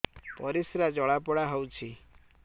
ପରିସ୍ରା ଜଳାପୋଡା ହଉଛି